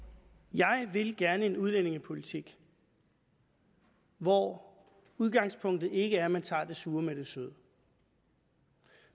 jeg vil gerne en udlændingepolitik hvor udgangspunktet ikke er at man tager det sure med det søde